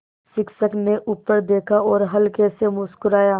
शिक्षक ने ऊपर देखा और हल्के से मुस्कराये